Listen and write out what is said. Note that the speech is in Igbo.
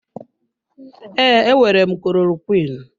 Ee, enwere m klorokwiin.